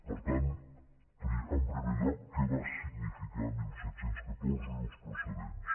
per tant en primer lloc què va significar disset deu quatre i els precedents